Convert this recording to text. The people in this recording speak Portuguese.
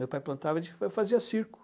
Meu pai plantava, a gente, eu fazia circo.